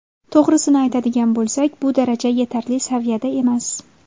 To‘g‘risini aytadigan bo‘lsak, bu daraja yetarli saviyada emas.